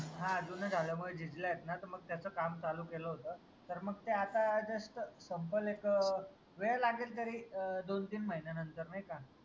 हान जून झाल्यामुळे झिजल्या आहेत ना त मग त्याच काम चालू केलं होत तर मग ते आता just संपल एक वेळ लागेल तरी अं दोन तीन महिन्या नंतर नाई का